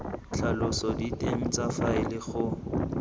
tlhalosa diteng tsa faele go